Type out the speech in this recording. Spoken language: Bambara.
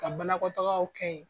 Ka banakɔ tagaw kɛ yen !